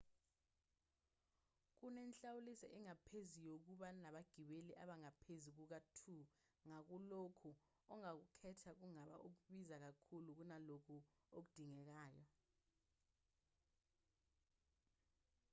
kunenhlawuliso engaphezulu yokuba nabagibeli abangaphezu kuka-2 ngakho lokhu ongakukhetha kungaba okubiza kakhulu kunalokho okudingekayo